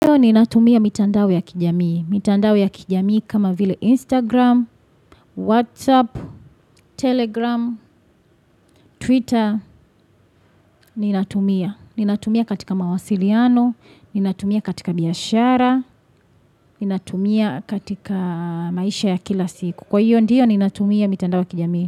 Ndio ni natumia mitandao ya kijamii, mitandao ya kijamii kama vile Instagram, WhatsApp, Telegram, Twitter, ni natumia, ni natumia katika mawasiliano, ni natumia katika biashara, ni natumia katika maisha ya kila siku. Kwa hiyo ndiyo ni natumia mitandao ya kijamii.